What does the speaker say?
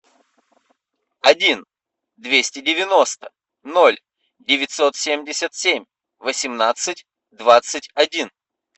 один двести девяносто ноль девятьсот семьдесят семь восемнадцать двадцать один